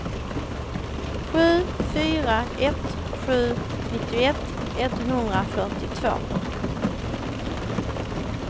sju fyra ett sju nittioett etthundrafyrtiotvå